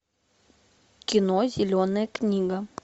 кино зеленая книга